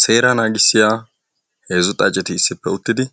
seeraa naagisiyaa heezzu xaacceti